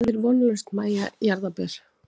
Hvað er vonlaust Mæja jarðaber?